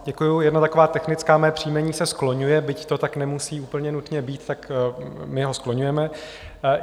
Děkuji, jedna taková technická - moje příjmení se skloňuje, byť to tak nemusí úplně nutně být, tak my ho skloňujeme.